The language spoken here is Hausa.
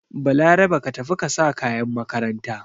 Balarabe ka tafi ka sa kayan makaranta!